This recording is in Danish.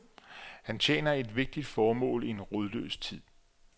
Han tjener et vigtigt formål i en rodløs tid.